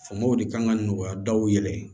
Famaw de kan ka nɔgɔya daw yɛrɛ ye